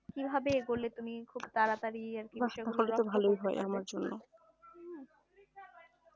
কিভাবে এগুলো তুমি খুব তাড়াতাড়ি